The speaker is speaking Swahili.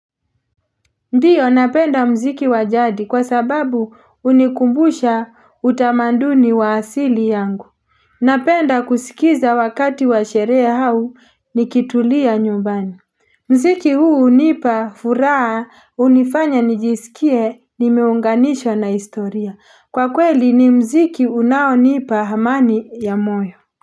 Ndiyo napenda mziki wa jadi kwa sababu hunikumbusha utamaduni wa asili yangu Napenda kusikiza wakati wa sherehe au ni nikitulia nyumbani Mziki huu hunipa furaha, hunifanya nijisikie nimeunganishwa na historia. Kwa kweli ni mziki unao nipa amani wa moyo.